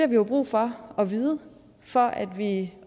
vi jo brug for at vide for at vi